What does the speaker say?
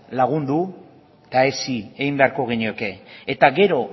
lagundu eta hezi egin beharko genioke eta gero